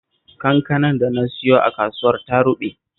Kankanar da na siyo a kasuwar ta ruɓe